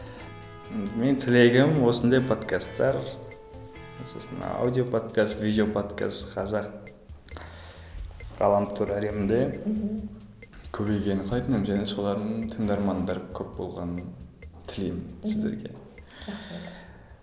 ммм мен тілегім осындай подкастар сосын аудио подкаст видео подкаст қазақ ғаламтор әлемінде мхм көбейгенін қалайтын едім және солардың тыңдармандары көп болғанын тілеймін сіздерге рахмет